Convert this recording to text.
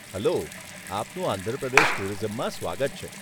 Hello આપનું આંધ્ર પ્રદેશ ટુરિઝમમાં સ્વાગત છે.